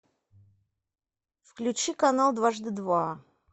включи канал дважды два